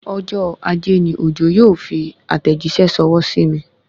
Ọjọ́ ajé ni Òjó yóò fi àtẹ̀jíṣẹ́ ṣọwọ́ sí mi